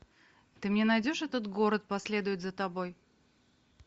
ты мне найдешь этот город последует за тобой